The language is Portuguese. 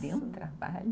Deu um trabalho.